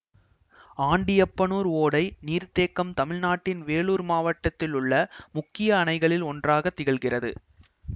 ஆண்டியப்பனூர் ஓடை நீர்த்தேக்கம் தமிழ்நாட்டின் வேலூர் மாவட்டத்தில் உள்ள முக்கிய அணைகளில் ஒன்றாக திகழ்கிறது